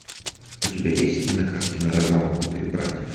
у тебя есть кинокартина разомкнутые братья